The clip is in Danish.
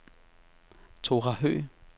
Thora Høgh